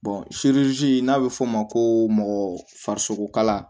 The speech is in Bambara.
n'a bɛ f'o ma ko mɔgɔ farisogokalan